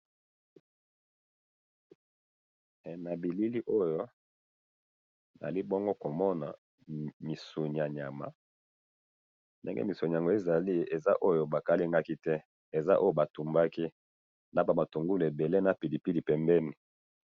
Eh! Na bilili oyo, nazali bongo komona, misuni yanyama, ndenge misuni yango ezali, eza oyo balingaki te, eza oyo batumbaki, nabamatungulu ebele, na pilipili pembeni.